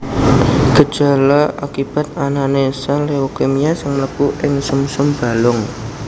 Gejala akibat anané sèl leukemia sing mlebu ing sumsum balung